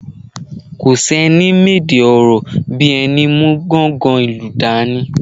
Kò sẹ́ni mèdè ọ̀rọ̀ bí ẹni mú gọ̀ǹgọ́ ìlù dání.